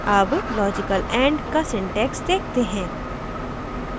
अब logical and का syntax देखते हैं